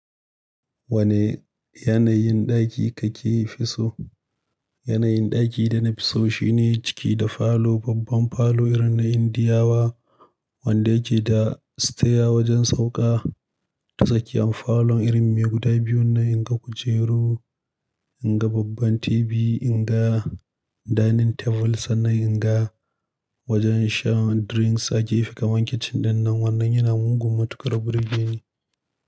Wane yanayin ɗaki kake fi so? Yanayin ɗaki da nafi so shine ciki da falo, babban falo irin na Indiyawa, wanda yake da sitaya wajen sauƙa. Tatsaki yan falon irin mai guda biyu na inga kujeru, inga babban TV, inga dining table sannan inga wajen shan drinks a gefe. Kaman kitchen dinnan wannan yana mugun matuƙar birgeni.